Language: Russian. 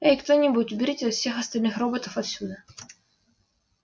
эй кто-нибудь уберите всех остальных роботов отсюда